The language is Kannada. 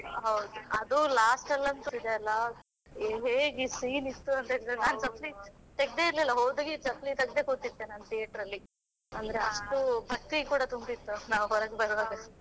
ಹೌದು ಅದು last ಅಲ್ಲಿ ಅಂತೂ ಇದೆಯಲ್ಲ ಹೇಗೆ scene ಇತ್ತು ಅಂತ ಹೇಳಿದ್ರೆ ನಾನು ಚಪ್ಪಲಿ ತೆಗ್ದೆ ಇರಲಿಲ್ಲ ಹೋದಾಗ ಚಪ್ಪಲಿ ತೆಗ್ದೆ ಕೂತಿದ್ದೆ ನಾನು theatre ಅಲ್ಲಿ, ಅಷ್ಟು ಭಕ್ತಿ ಕೂಡ ತುಂಬಿತ್ತು ನಾವು ಹೊರಗೆ ಬರುವಾಗಸ.